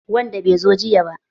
Wadan bai zo jiya ba.